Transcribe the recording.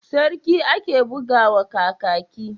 Sarki ake buga wa Kakaki?